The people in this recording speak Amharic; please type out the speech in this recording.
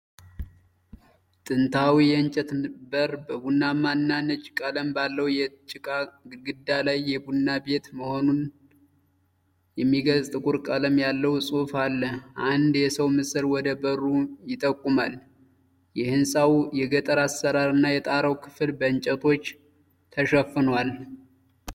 ጥንታዊ የእንጨት በር በቡናማ እና ነጭ ቀለም ባለው የጭቃ ግድግዳ ላይ የቡና ቤት መሆኑን የሚገልጽ ጥቁር ቀለም ያለው ጽሑፍ አለ። አንድ የሰው ምስል ወደ በሩ ይጠቁማል። ሕንፃው የገጠር አሠራርና የጣራው ክፍል በእንጨቶች ተሸፍኗል።